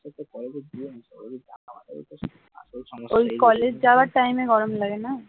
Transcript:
এই কলেজ যাওয়ার টাইমে গরমটা লাগে না